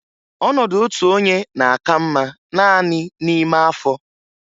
Ọnọdụ otu onye na-aka mma naanị n'ime afọ.